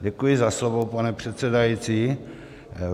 Děkuji za slovo, pane předsedající.